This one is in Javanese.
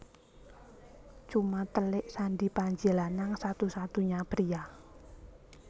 Cuma telik Sandi Panji Lanang satu satunya pria